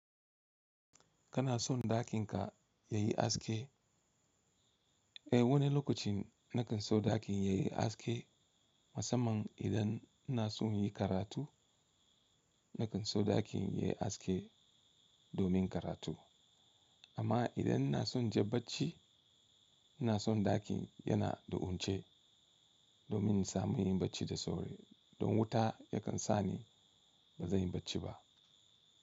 Kana son ɗakin ka yayi aske? Eh wani lokacin nakan so ɗakin yayi aske musamman idan ina son yi karatu nakan so ɗakin yayi haske domin karatu amma idan ina son je bacci ina son ɗakin yana da wunci domin samun yin bacci da sauri don wuta yakan sa ni ba zan yi bacci ba.